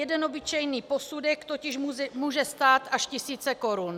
Jeden obyčejný posudek totiž může stát až tisíce korun.